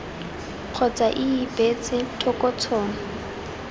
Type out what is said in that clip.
kgotsa ii beetse thoko tshono